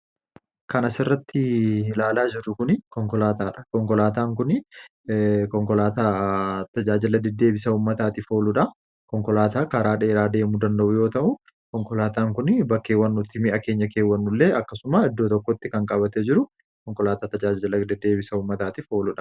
Kan asirratti ilaalaa jirru Kun, konkolaataadha. Konkolaataan kunii konkolaataa tajaajila deddeebisa uummataatiif ooludha. Konkolaataa karaa dheeraa deemuu danda'u yoo ta'u, konkolaataan Kun bakkeewwan nuti mi'a keenya keewwannu illee akkasuma bakka tokkotti qabatee kan jiru konkolaataa tajaajila deddeebisa uummataatiif ooludha.